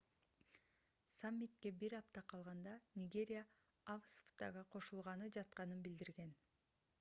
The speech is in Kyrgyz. саммитке бир апта калганда нигерия afcfta'га кошулганы жатканын билдирген